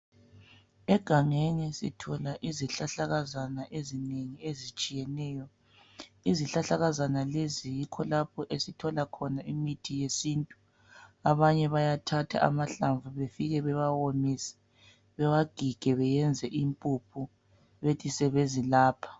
Egangeni sithola izihlahlakazana ezinengi ezitshiyeneyo izihlahlakazana lezi kulapho esithola khona imithi yesintu abanye bayathatha amahlavu befike bewawomise bewagige beyenze impuphu bekothi sebezilapha.